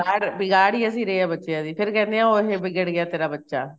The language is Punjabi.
ਬਿਗਾੜ ਬਿਗਾੜ ਈ ਅਸੀਂ ਰਹੇ ਆ ਬੱਚਿਆਂ ਦੀ ਫੇਰ ਕਹਿੰਦੇ ਉਹ ਦੇਖ ਬਿਗੜ ਗਿਆ ਤੇਰਾ ਬੱਚਾ